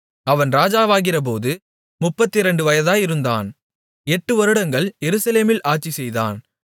அவன் ராஜாவாகிறபோது முப்பத்திரண்டு வயதாயிருந்து எட்டு வருடங்கள் எருசலேமில் ஆட்சிசெய்தான்